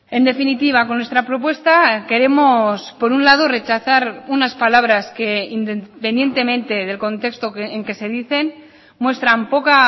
en definitiva con nuestra propuesta queremos por un lado rechazar unas palabras que independientemente del contexto en que se dicen muestran poca